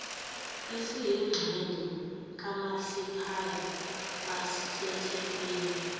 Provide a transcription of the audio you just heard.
esiyingxenye kamasipala wasethekwini